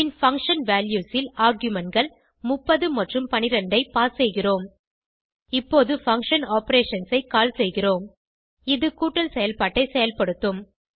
பின் function values ல் argumentகள் 30 மற்றும் 12 பாஸ் செய்கிறோம் இப்போது பங்ஷன் ஆப்பரேஷன்ஸ் ஐ கால் செய்கிறோம் இது கூட்டல் செயல்பாட்டை செயல்படுத்தும்